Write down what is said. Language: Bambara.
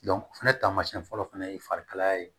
fɛnɛ taamasiyɛn fɔlɔ fana ye farikalaya ye